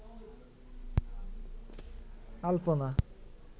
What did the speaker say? আলপনা